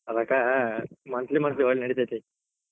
ಅದಕ್ monthly monthly ಒಟ್ ನಡಿತೀತಿ.